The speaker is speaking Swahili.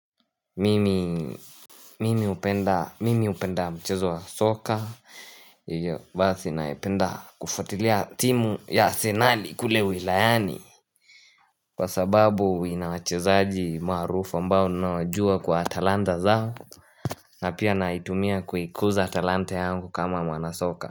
Mimi hupenda mchezo wa soka. Hivyo basi naipenda kufuatilia timu ya arsenali kule wilayani. Kwa sababu ina wachezaji maarufu ambao ninawajua kwa talanta zao na pia naitumia kuikuza talanta yangu kama mwanasoka.